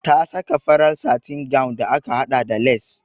Ta saka farar satin gown da aka haɗa da lace.